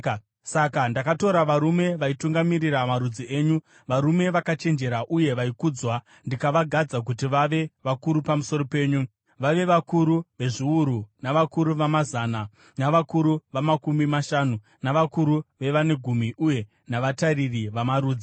Saka ndakatora varume vaitungamirira marudzi enyu, varume vakachenjera uye vaikudzwa, ndikavagadza kuti vave vakuru pamusoro penyu, vave vakuru vezviuru, navakuru vamazana, navakuru vamakumi mashanu, navakuru vevane gumi uye navatariri vamarudzi.